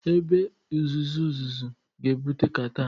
Ebe uzuzu uzuzu ga-ebute catarh